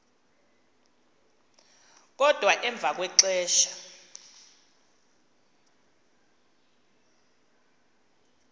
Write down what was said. kodwa emva kwexesha